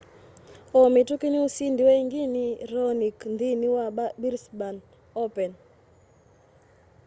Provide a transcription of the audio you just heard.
o mituki nusindiwe ingi ni raonic nthini wa brisbane open